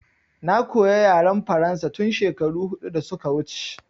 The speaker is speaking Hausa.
Na koya yaren faransa tun shekaru huɗu da suka wuce